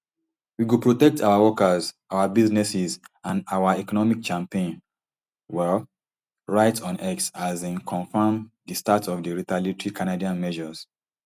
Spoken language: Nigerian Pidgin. we go protect our workers our businesses and our economy champagne um write on x as im confam di start of di retaliatory canadian measures